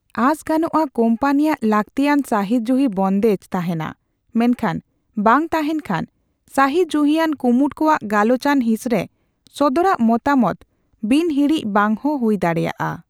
ᱟᱸᱥ ᱜᱟᱱᱚᱜᱼᱟ, ᱠᱳᱢᱯᱟᱱᱤᱭᱟᱜ ᱞᱟᱹᱠᱛᱤᱭᱟᱱ ᱥᱟᱹᱦᱤᱡᱩᱦᱤ ᱵᱚᱱᱫᱮᱡᱽ ᱛᱟᱦᱮᱸᱱᱟ, ᱢᱮᱱᱠᱷᱟᱱ ᱵᱟᱝ ᱛᱟᱦᱮᱸᱱ ᱠᱷᱟᱱ, ᱥᱟᱹᱦᱤᱡᱩᱦᱤᱭᱟᱱ ᱠᱩᱢᱩᱴ ᱠᱚᱣᱟᱜ ᱜᱟᱞᱚᱪᱟᱱ ᱦᱤᱸᱥ ᱨᱮ ᱥᱚᱫᱚᱨᱟᱜ ᱢᱚᱛᱟᱢᱚᱛ ᱵᱤᱱᱦᱤᱬᱤᱡᱽ ᱵᱟᱝᱦᱚᱸ ᱦᱩᱭ ᱫᱟᱲᱮᱭᱟᱜᱼᱟ ᱾